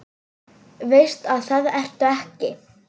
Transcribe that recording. Veist að það ertu ekki.